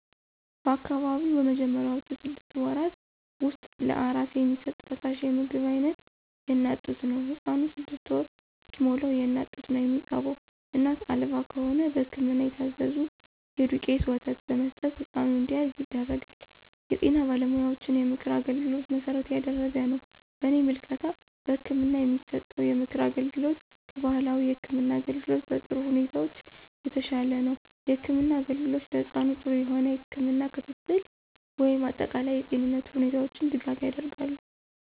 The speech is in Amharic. በአካባቢው በመጀመሪያውቹ ስድስት ወራት ውስጥ ለአራስ የሚሰጥ ፈሳሽ የምግብ አይነት የእናት ጡት ነው። ህፃኑ ስድስት ወር እስከሚሞላዉ የእናት ጡት ነው የሚጠባው እናት አልባ ከሆነ በህክምና የታዘዘ የዱቄት ወተት በመስጠት ህፃኑ እንዲያድግ ይደረጋል። የጤና ባለሙያዎችን የምክር አገልግሎት መሠረት ያደረገ ነው። በእኔ ምልከታ በህክምና የሚሰጠው የምክር አገልግሎት ከባህላዊ የህክም አገልግሎት በጥሩ ሁኔታዎች የተሻለ ነው። የህክምና አገልግሎት ለህፃኑ ጥሩ የሆነ የህክም ክትትል ወይም አጠቃላይ የጤንነቱ ሁኔታዎች ድጋፍ ያደርጋሉ።